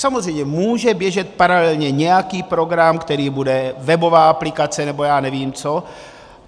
Samozřejmě může běžet paralelně nějaký program, který bude webová aplikace, nebo já nevím co.